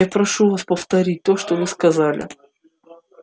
я прошу вас повторить то что вы сказали